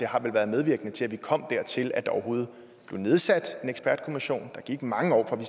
har været medvirkende til at vi kom dertil at der overhovedet blev nedsat en ekspertkommission der gik mange år fra vi